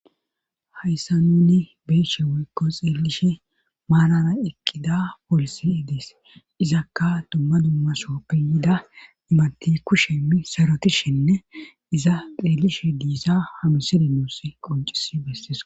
hayssa nuni beeshe woykko xeelishe maanara eqqida poolisi dees izakka dumma dummasoppiyida imati kushemi sarotishinne iza xeellishe diissa hamisede nuuss qoncisi bessees